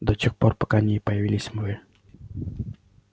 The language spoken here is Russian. до тех пор пока не появились вы